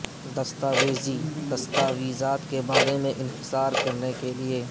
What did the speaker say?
دستاویزی دستاویزات کے بارے میں انحصار کرنے کے لئے